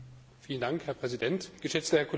Herr Präsident, geschätzter Herr Kollege!